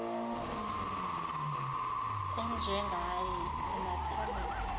enjengaye sinathemba lini